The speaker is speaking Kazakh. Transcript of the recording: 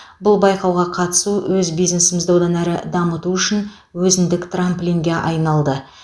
бұл байқауға қатысу өз бизнесімізді одан әрі дамыту үшін өзіндік трамплинге айналды